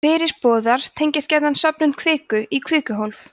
fyrirboðar tengjast gjarna söfnun kviku í kvikuhólf